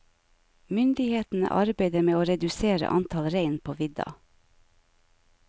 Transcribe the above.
Myndighetene arbeider med å redusere antallet rein på vidda.